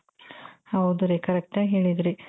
ಹೌದು ರೀ correct ಆಗಿ ಹೇಳಿದ್ರಿ .